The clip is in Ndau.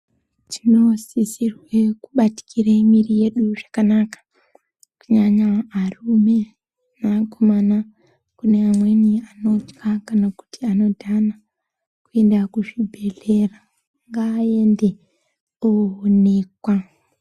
Tinosisirwe kubatikire mwiiri yedu zvakanaka, kunyanya arume neakomana. Kune amweni anotya, kana kuti anodhana, kuenda kuzvibhedhlera. Ngaaende ooonekwa.